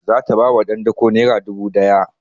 Za ta ba wa ɗan dako naira dubu ɗaya